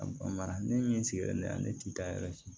A mara ne min sigilen ne ne ti da yɛrɛ